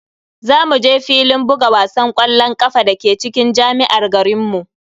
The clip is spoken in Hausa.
Za mu je filin buga wasan ƙwallon ƙafa dake cikin jami'ar garinmu.